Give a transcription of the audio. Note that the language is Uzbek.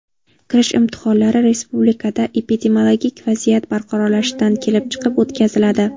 Kirish imtihonlari respublikada epidemiologik vaziyat barqarorlashishidan kelib chiqib o‘tkaziladi.